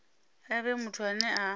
a vhe muthu ane a